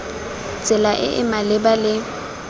tsela e e maleba le